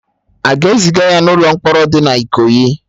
Aga ezịga ya na ụlọ mkpọrọ dị na Ikoyi?